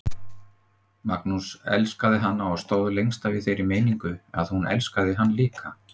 Magnús elskaði hana og stóð lengst af í þeirri meiningu að hún elskaði hann líka.